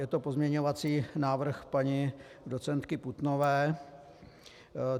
Je to pozměňovací návrh paní docentky Putnové.